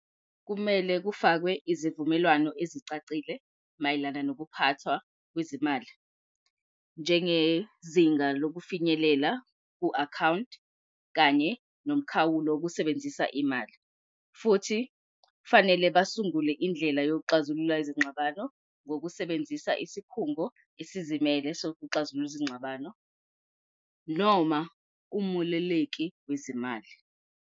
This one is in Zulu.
Kumele kufakwe izivumelwano ezicacile mayelana nokuphathwa kwezimali njengezinga lokufinyelela ku-akhawunti kanye nomkhawulo wokusebenzisa imali. Futhi kufanele basungule indlela yokuxazulula izingxabano ngokusebenzisa isikhungo esizimele sokuxazulula izingxabano noma kumululeki wezimali.